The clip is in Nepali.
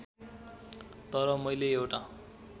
तर मैले एउटा